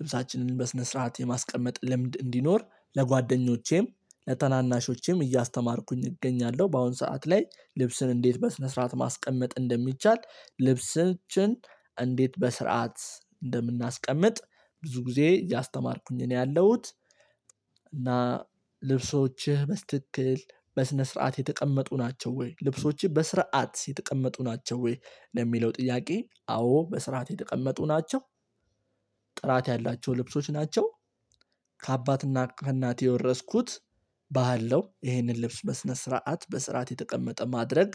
ልብሳችንን በስነ ስርዓት የማስቀመጥ ልምድ እንዲኖር ለጓደኞቼም ለተናናሾቼም እያስተማርኩኝ እገኛለሁ። በአሁን ሰዓት ላይ ልብስን እንዴት በስነ ስርዓት ማስቀመጥ እንደሚቻል ልብስን እንዴት በስርዓት እንደምናስቀምጥ ብዙ ጊዜ ያስተማርኩኝ እኔ ያለሁት። እና ልብሶችህ በስትክክል በስነ ስርዓት የተቀመጡ ናቸው ወይ? ልብሶችህ በስርዓት የተቀመጡ ናቸው ወይ? ለሚለው ጥያቄ አዎ በስርዓት የተቀመጡ ናቸው። ጥራት ያላቸው ልብሶች ናቸው። ከአባትና ከእናቴ የወረስኩት ባህል ነው። ይሄንን ልብስ በስነ ስርዓት በስርዓት የተቀመጠ ማድረግ